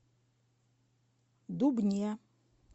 дубне